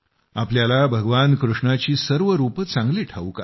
आपल्याला भगवान कृष्णाची सर्व रूपं चांगली ठाऊक आहेत